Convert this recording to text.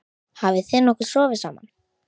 Hafið þið nokkuð sofið saman?